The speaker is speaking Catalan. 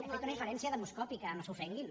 he fet una inferència demoscòpica no s’ofenguin